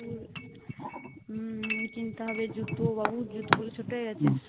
উম কিনতে হবে জুতো বাবুর জুতাগুলো ছোট হয়ে গেছে